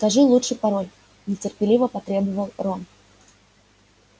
скажи лучше пароль нетерпеливо потребовал рон